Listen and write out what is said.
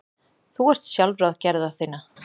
Þú ert sjálfráð gerða þinna.